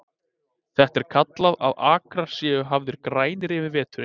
Þetta er kallað að akrar séu hafðir grænir yfir veturinn.